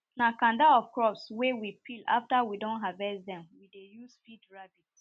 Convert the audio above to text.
na kanda of crops wen we peel after we don harvest dem we dey use feed rabbit